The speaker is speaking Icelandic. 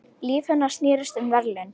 Líf hennar snerist um verðlaun.